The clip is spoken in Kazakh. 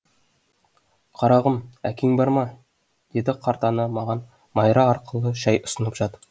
қарағым әкең бар ма деді қарт ана маған майра арқылы шай ұсынып жатып